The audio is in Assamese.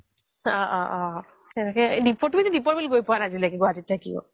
অহ্' অহ্' অহ্ এনেকৈ এদিন তুমিটো দীপৰ বিল গৈ পোৱা নাই গুৱাহাটীত থাকিয়ো